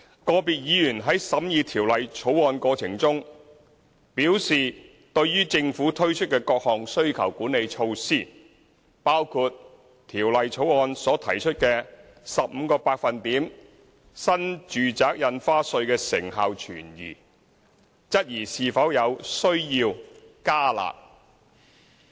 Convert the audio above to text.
個別議員在審議《條例草案》過程中，表示對於政府推出的各項需求管理措施的成效存疑，包括《條例草案》所提出的 15% 新住宅印花稅，質疑是否有需要"加辣"。